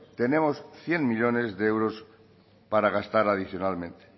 tenemos cien millónes de euros para gastar adicionalmente